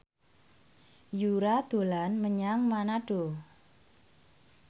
Yura dolan menyang Manado